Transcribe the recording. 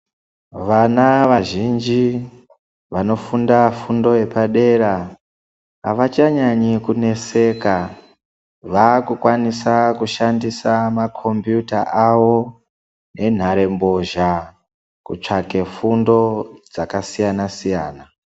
Vana vazhinji vano funda fundo yepadera avacha nyanyi kuneseka vaku kwanisa kushandisa ma kombiyuta awo ne nhare mbozha kutsvake fundo dzaka siyana siyana.